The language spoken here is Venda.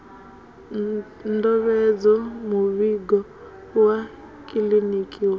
ndovhedzo muvhigo wa kiḽiniki wa